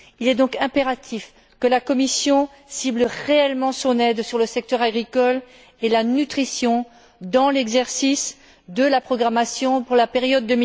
Il est donc impératif que la Commission cible réellement son aide sur le secteur agricole et la nutrition dans l'exercice de la programmation pour la période